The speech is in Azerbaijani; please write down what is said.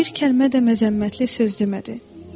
Bir kəlmə də məzəmmətli söz demədi.